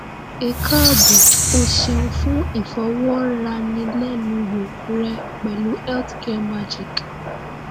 ẹ káàbọ̀ o ṣeun fún ìfọ̀rọ̀wánilẹ́nuwò rẹ pẹ̀lú health care magic